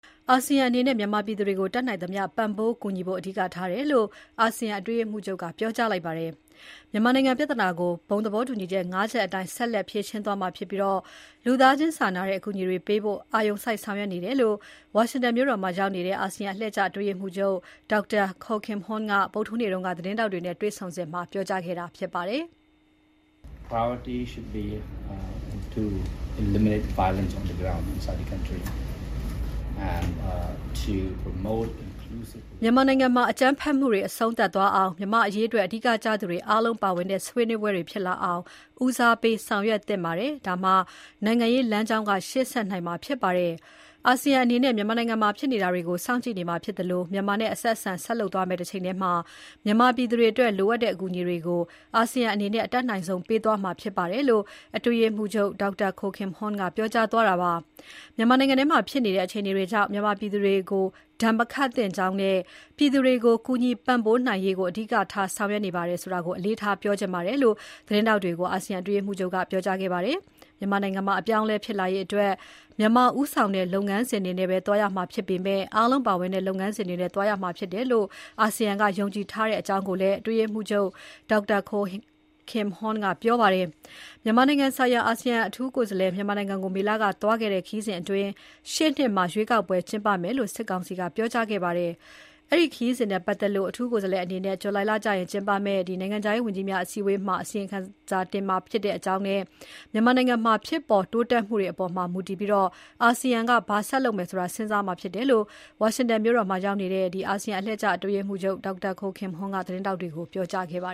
အာဆီယံအနေနဲ့ မြန်မာပြည်သူတွေကို တတ်နိုင်သမျှ ပံ့ပိုးကူညီဖို့ အဓိကထားတယ်လို့ အာဆီယံအတွင်းရေးမှူးချုပ်က ပြောကြားလိုက်ပါတယ်။ မြန်မာနိုင်ငံပြဿနာကို အာဆီယံဘုံသဘောတူညီချက် ၅ ချက်အတိုင်း ဆက်လက် ဖြေရှင်းသွားမှာဖြစ်ပြီး လူသားချင်းစာနာတဲ့ အကူအညီတွေပေးဖို့ အာရုံစိုက်ဆောင်ရွက်နေတယ်လို့ ဝါရှင်တန် ဒီစီမြို့တော်မှာရောက်နေတဲ့ အာဆီယံ အတွင်းရေးမှူးချုပ် Dr. Kao Kim Hourn က မနေ့ ဇွန်လ ၁၂ ရက်နေ့က သတင်းထောက်တွေနဲ့တွေ့ဆုံစဉ်မှာ ပြောကြားခဲ့တာ ဖြစ်ပါတယ်။ "မြန်မာနိုင်ငံထဲမှာ အကြမ်းဖက်မှုတွေ အဆုံးသတ်သွားအောင်၊ မြန်မာ့အရေးအတွက် အဓိကကျသူတွေအားလုံးပါဝင်တဲ့ ဆွေးနွေးပွဲတွေဖြစ်လာအောင် ဦးစားပေးဆောင်ရွက်သင့်ပါတယ်။ ဒါမှ နိုင်ငံရေးလမ်းကြောင်းက ရှေ့ဆက်နိုင်မှာဖြစ်ပါတယ်။ အာဆီယံအနေနဲ့ မြန်မာနိုင်ငံမှာ ဖြစ်နေတာတွေကို စောင့်ကြည့်နေမှာဖြစ်သလို မြန်မာနဲ့ အဆက်အဆံ ဆက်လုပ်သွားမယ့်တချိန်ထဲမှာ မြန်မာပြည်သူတွေအတွက် လိုအပ်တဲ့ အကူအညီတွေကို အာဆီယံအနေနဲ့ အတတ်နိုင်ဆုံး ပေးသွားမှာဖြစ်ပါတယ်" - လို့ အာဆီယံ အတွင်းရေးမှူးချုပ် Dr. Kao Kim Hourn ကပြောသွားတာပါ။ မြန်မာနိုင်ငံမှာ ဖြစ်နေတဲ့ အခြေအနေတွေကြောင့် မြန်မာပြည်သူတွေကို ဒဏ်မခတ်သင့်ကြောင်းနဲ့ ပြည်သူတွေကို ကူညီပံ့ပိုးနိုင်ရေးကို အဓိကထား ဆောင်ရွက်နေပါတယ်ဆိုတာ အလေးထားပြောချင်တယ်လို့ သတင်းထောက်တွေကို အာဆီယံအတွင်းရေးမှူးချုပ်က ပြောကြားသွားပါတယ်။ မြန်မာနိုင်ငံမှာ အပြောင်းအလဲ ဖြစ်လာရေးအတွက် မြန်မာဦးဆောင်တဲ့ လုပ်ငန်းစဉ်တွေနဲ့ပဲ သွားရမှာဖြစ်ပေမဲ့ အားလုံး ပါဝင်တဲ့ လုပ်ငန်းစဉ်နဲ့သွားရမယ်လို့ အာဆီယံက ယုံကြည်ထားတယ်လို့လည်း အတွင်းရေးမှူးချုပ် Dr. Kao Kim Hourn ကပြောပါတယ်။ မြန်မာနိုင်ငံဆိုင်ရာ အာဆီယံ အထူးကိုယ်စားလှယ် မြန်မာနိုင်ငံကို မေလက သွားခဲ့တဲ့ ခရီးစဉ်အတွင်း ရှေ့နှစ်မှာ ရွေးကောက်ပွဲကျင်းပမယ်လို့ စစ်ကောင်စီက ပြောကြားခဲ့ပါတယ်။ အဲဒီခရီးစဉ်နဲ့ပတ်သက်လို့ အထူးကိုယ်စားလှယ်အနေနဲ့ ဇူလိုင်လအတွင်းကျင်းပမယ့် အာဆီယံ နိုင်ငံခြားရေးဝန်ကြီးများ အစည်းအဝေးကျရင် အစီရင်ခံတင်ပြမှာဖြစ်ကြောင်းနဲ့ မြန်မာနိုင်ငံက ဖြစ်ပေါ်တိုးတက်မှုတွေအပေါ် မူတည်ပြီး အာဆီယံက ဘာဆက်လုပ်မယ်ဆိုတာ စဉ်းစားမှာဖြစ်တယ်လို့ ဝါရှင်တန် ဒီစီ မြို့တော်မှာရောက်နေတဲ့ အာဆီယံ အတွင်းရေးမှူးချုပ် Dr. Kao Kim Hourn က သတင်းထောက်တွေကို ပြောကြားသွားပါ